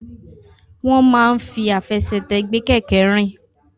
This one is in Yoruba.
Wọ́n máa ń fi àfẹsẹ̀tẹ̀ gbé kẹ̀kẹ́ rìn.